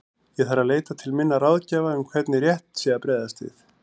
Ég þarf að leita til minna ráðgjafa um hvernig rétt sé að bregðast við.